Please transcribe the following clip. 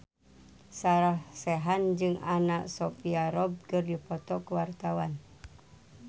Sarah Sechan jeung Anna Sophia Robb keur dipoto ku wartawan